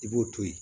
I b'o to yen